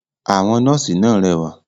Àwọn “nọ́ọ̀sí” náà rẹwà.